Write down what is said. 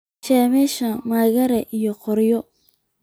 Shemsha maraage iyo qoryo